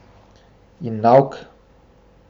In nauk?